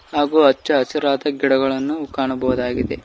ಹಾಗು ಹಚ್ಚ ಹಸಿರಾದ ಗಿಡಗಳನ್ನು ಕಾಣಬಹುದಾಗಿದೆ.